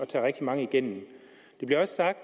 tage rigtig mange igennem det bliver også sagt